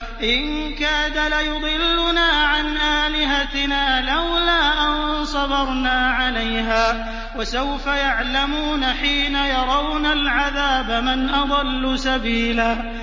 إِن كَادَ لَيُضِلُّنَا عَنْ آلِهَتِنَا لَوْلَا أَن صَبَرْنَا عَلَيْهَا ۚ وَسَوْفَ يَعْلَمُونَ حِينَ يَرَوْنَ الْعَذَابَ مَنْ أَضَلُّ سَبِيلًا